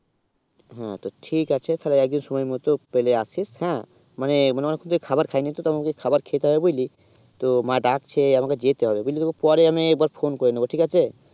হেঁ তো ঠিক আছে তো তালে রাখি সময়ে মতুন পেলে আসিস হেঁ মানে আমার খাবা খাই নি তো আমার খাবা খেতে হয়ে বুঝলি তো মা ডাকছে আমাকে যেতে হবে বুঝলি পরে আমি তোকে একবার phone করে নিবো ঠিক আছে